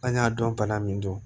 An y'a dɔn bana min don